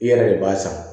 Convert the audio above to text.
I yɛrɛ de b'a san